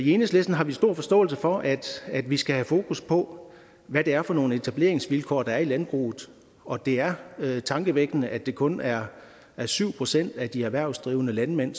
enhedslisten har vi stor forståelse for at vi skal have fokus på hvad det er for nogle etableringsvilkår der er i landbruget og det er tankevækkende at det kun er syv procent af de erhvervsdrivende landmænd